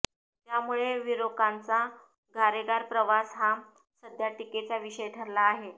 त्यामुळे विरोकांचा गारेगार प्रवास हा सध्या टीकेचा विषय ठरला आहे